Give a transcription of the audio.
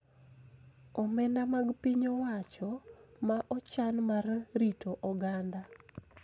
Omenda mag piny owacho ma ochan mar rito oganda.